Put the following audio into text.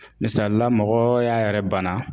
Misali la mɔgɔ y'a yɛrɛ bana